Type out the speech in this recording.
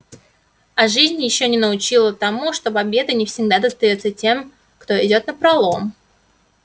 а жизнь ещё не научила тому что победа не всегда достаётся тем кто идёт напролом